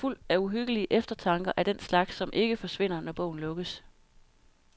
Den er fuld af uhyggelige eftertanker af den slags som ikke forsvinder, når bogen lukkes.